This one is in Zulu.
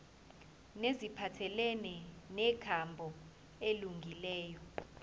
neziphathelene nenkambo elungileyo